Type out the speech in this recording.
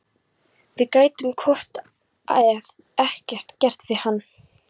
Við gætum hvort eð er ekkert gert fyrir hann.